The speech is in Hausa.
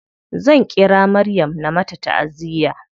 Zan ƙira maryam na mata taʼaziya.